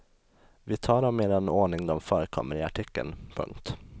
Vi tar dem i den ordning de förekommer i artikeln. punkt